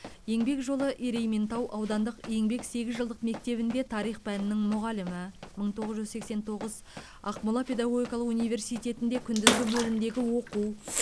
еңбек жолы ерейментау аудандық еңбек сегіз жылдық мектебінде тарих пәнінің мұғалімі мың тоғыз жүз сексен тоғыз ақмола педагогикалық университетінде күндізгі бөлімдегі оқу